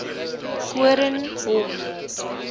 koornhof